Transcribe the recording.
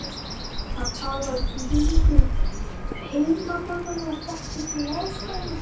Hann talar tungu heimamanna og þekkir til aðstæðna.